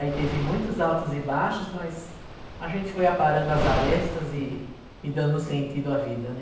Aí teve muitos altos e baixos, mas a gente foi aparando as arestas e e e dando sentido à vida, né?